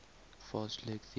fast leg theory